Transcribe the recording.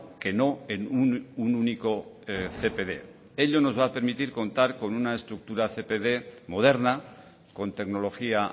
que no en un único cpd ello nos va a permitir contar con una estructura cpd moderna con tecnología